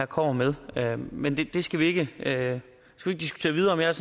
kommer med her men det skal vi ikke diskutere videre jeg